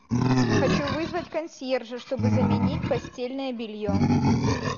хочу вызвать консьержа чтобы заменить постельное белье